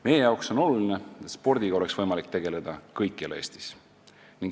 Meile on oluline, et spordiga oleks võimalik tegeleda kõikjal Eestis.